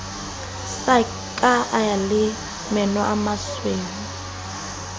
sa ka e le semenomasweu